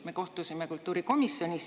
Me kohtusime kultuurikomisjonis.